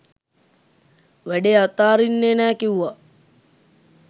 වැඩේ අතාරින්නේ නැ කිවුවා.